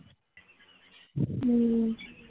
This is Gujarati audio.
હમ